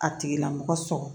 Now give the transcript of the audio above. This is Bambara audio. A tigila mɔgɔ sɔgɔ